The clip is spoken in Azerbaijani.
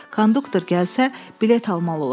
Konduktor gəlsə, bilet almalı olacam.